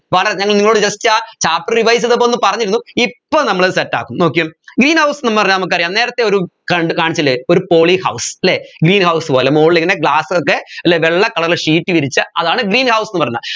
ഞങ്ങൾ നിങ്ങളോട് just ആ chapter revise ചെയ്തപ്പോൾ ഒന്ന് പറഞ്ഞിരുന്നു ഇപ്പൊ നമ്മളത് set ആക്കും നോക്കിയേ greenhouse എന്ന് പറഞ്ഞാ നമുക്കറിയാം നേരെത്തെ ഒരു കണ്ട് കാണിച്ചില്ലേ ഒരു polyhouse അല്ലെ greenhouse പോലെ മോളിലിങ്ങനെ glass ഒക്കെ അല്ലെ വെള്ള colour ൽ sheet വിരിച്ച അതാണ് green house ന്ന് പറയുന്നേ